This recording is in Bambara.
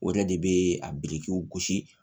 O de bɛ a birikiw gosi